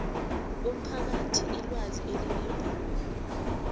umphakathi ilwazi elinembako